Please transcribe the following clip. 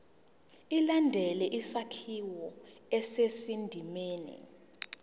ilandele isakhiwo esisendimeni